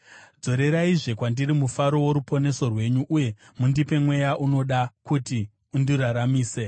Dzoreraizve kwandiri mufaro woruponeso rwenyu, uye mundipe mweya unoda, kuti undiraramise.